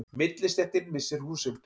Millistéttin missir húsin